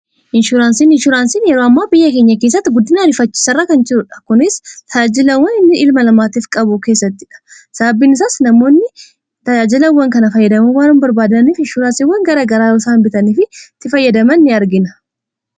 inshuraansiin hisuuraansiin yeroo ammaa biyya keenya keessatti guddiin ariifachisairra kan jirudha kunis ta'aajilawwan inni ilma lamaatiif qabu keessatti dha sababbiin isaas namoonni tayaajilawwan kana fayyadamuu waarun barbaadaniif inshuuraansiwan garagaraa usaainbitaniiftti fayyadaman in argina